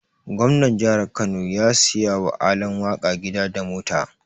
Gomnar jihar Kano ya siya wa Alan waka gida da mota.